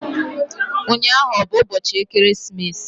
Ụnyaahụ ọ bụ ụbọchị ekeresimesi?